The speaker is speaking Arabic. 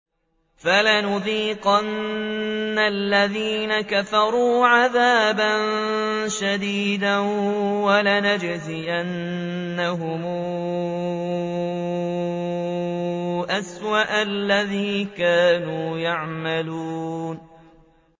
فَلَنُذِيقَنَّ الَّذِينَ كَفَرُوا عَذَابًا شَدِيدًا وَلَنَجْزِيَنَّهُمْ أَسْوَأَ الَّذِي كَانُوا يَعْمَلُونَ